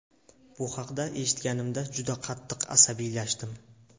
Bu haqda eshitganimda juda qattiq asabiylashdim.